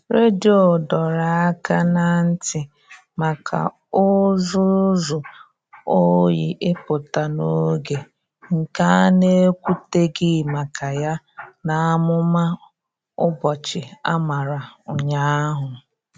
Redio dọrọ aka ná ntị maka ụzụzụ oyi ịpụta n'oge, nke a na-ekwuteghi maka ya n'amụma ụbọchị a mara ụnyaahụ.